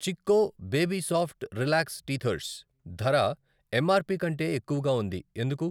Chicco baby soft relax teethers ధర MRP కంటే ఎక్కువగా ఉంది ఎందుకు?